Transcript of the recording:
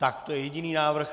Tak to je jediný návrh.